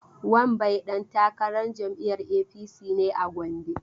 Wambai dan takarar jam'iyyar APC ne a Gombe.